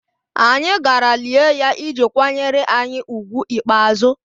Anyị gara lie ya iji kwanyere anyị ùgwù ikpeazụ